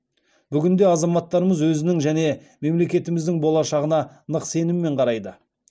бүгінде азаматтарымыз өзінің және мемлекетіміздің болашағына нық сеніммен қарайды